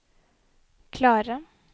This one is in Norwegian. klarere